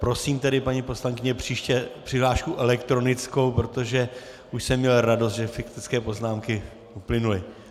Prosím tedy, paní poslankyně, příště přihlášku elektronickou, protože už jsem měl radost, že faktické poznámky uplynuly.